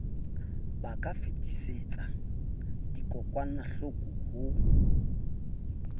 ba ka fetisetsa dikokwanahloko ho